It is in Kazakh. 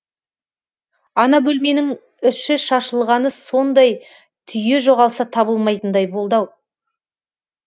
ана бөлменің іші шашылғаны сондай түйе жоғалса табылмайтындай болды ау